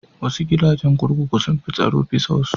Wasu gidajen kurkuku sun fi tsaro bisa wasu.